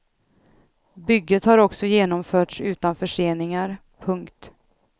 Bygget har också genomförts utan förseningar. punkt